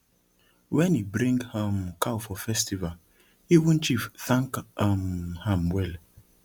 when he bring um cow for festival even chief thank um am well